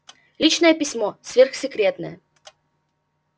личное письмо сверхсекретное